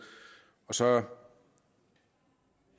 så er